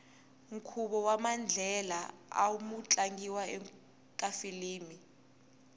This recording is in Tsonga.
nkhuvo wamandlela amu tlangiwa ekafilimu